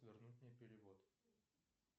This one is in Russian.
вернуть мне перевод